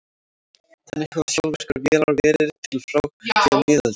Þannig hafa sjálfvirkar vélar verið til frá því á miðöldum.